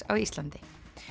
á Íslandi